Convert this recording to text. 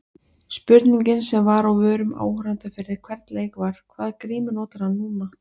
Spurningin sem var á vörum áhorfenda fyrir hvern leik var- hvaða grímu notar hann núna?